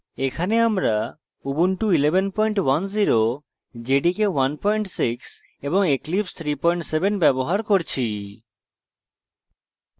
এখানে আমরা